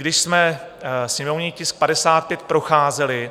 Když jsme sněmovní tisk 55 procházeli,